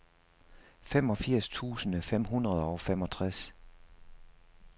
femogfirs tusind fem hundrede og femogtres